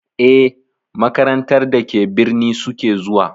Eh, makarantar da ke birni suke zuwa.